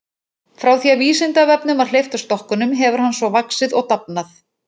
Frá því að Vísindavefnum var hleypt af stokkunum hefur hann svo vaxið og dafnað.